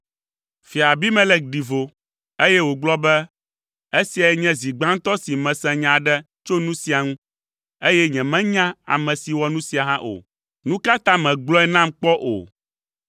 Fia Abimelek ɖi vo, eye wògblɔ be, “Esiae nye zi gbãtɔ si mese nya aɖe tso nu sia ŋu, eye nyemenya ame si wɔ nu sia hã o. Nu ka ta mègblɔe nam kpɔ o?”